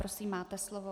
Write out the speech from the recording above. Prosím, máte slovo.